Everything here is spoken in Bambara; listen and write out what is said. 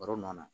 Baro nɔ na